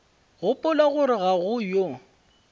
gopola gore ga go yo